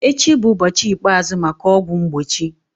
Echi bụ ụbọchị ikpeazụ maka ọgwụ mgbochi.